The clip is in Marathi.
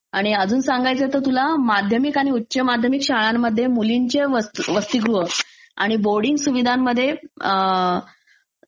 आणि अजून सांगायचं तर तुला माध्यमिक आणि उच्च माध्यमिक शाळांमध्ये मुलींचे वसती... वसतीगृह आणि बोर्डींग सुविधांमध्ये